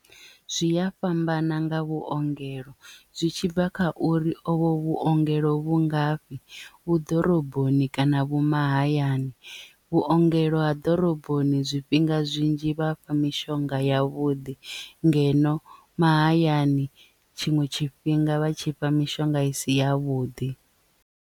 Zwi ya fhambana nga vhuongelo zwi tshibva kha uri ovho vhuongelo vhu ngafhi vhu ḓoroboni kana vhu mahayani vhuongelo ha ḓoroboni zwifhinga zwinzhi vha fha mishonga ya vhuḓi ngeno mahayani tshiṅwe tshifhinga vha tshi fha mishonga isi ya vhuḓi.